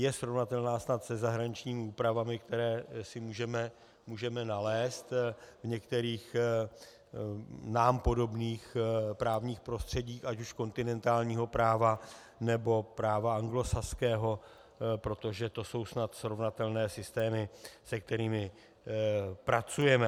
Je srovnatelná snad se zahraničními úpravami, které si můžeme nalézt v některých nám podobných právních prostředích ať už kontinentálního práva, nebo práva anglosaského, protože to jsou snad srovnatelné systémy, se kterými pracujeme.